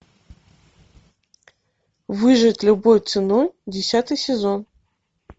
выжить любой ценой десятый сезон